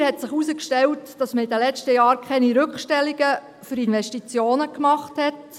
Weiter hat sich herausgestellt, dass man in den letzten Jahren keine Rückstellungen für Investitionen gemacht hat.